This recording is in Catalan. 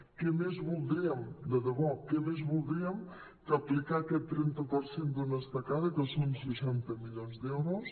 què més voldríem de debò què més voldríem que aplicar aquest trenta per cent d’una estacada que són seixanta milions d’euros